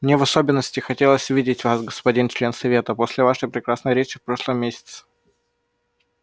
мне в особенности хотелось видеть вас господин член совета после вашей прекрасной речи в прошлом месяце